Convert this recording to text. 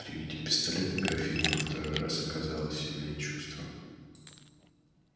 при виде пистолета графиня во второй раз оказала сильное чувство